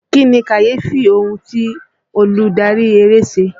Kí ni kàyéfì ohun ti olùdárí eré ṣe?